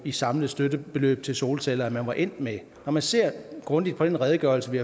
i samlet støttebeløb til solceller som man var endt med når man ser grundigt på den redegørelse vi